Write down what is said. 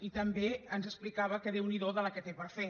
i també ens explicava que déu n’hi do la que té per fer